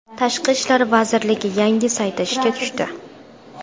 Tashqi ishlar vazirligi yangi sayti ishga tushdi.